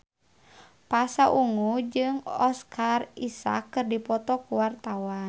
Pasha Ungu jeung Oscar Isaac keur dipoto ku wartawan